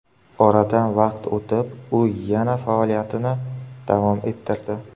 Oradan vaqt o‘tib, u yana faoliyatini davom ettirdi.